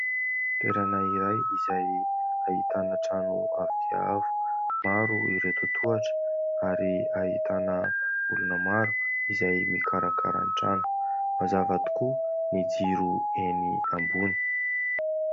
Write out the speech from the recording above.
Toerana iray izay ahitana trano avo dia avo. Maro ireo totohatra ary ahitana olona maro izay mikarakara ny trano. Mazava tokoa ny jiro eny ambony.